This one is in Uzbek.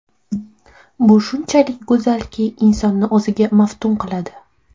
Bu shunchalik go‘zalki, insonni o‘ziga maftun qiladi.